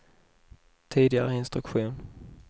tidigare instruktion